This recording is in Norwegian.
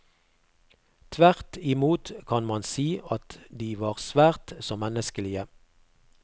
Tvert i mot kan man si at de var svært så menneskelige.